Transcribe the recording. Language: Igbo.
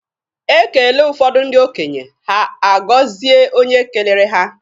E kele ụfọdụ ndị okenye, ha a gọzie onye kelere ha.